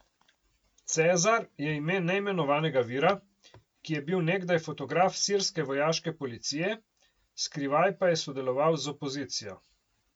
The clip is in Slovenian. Cezar je ime neimenovanega vira, ki je bil nekdaj fotograf sirske vojaške policije, skrivaj pa je sodeloval z opozicijo.